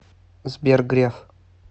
сбер греф